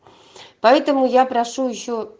поэтому я прошу ещё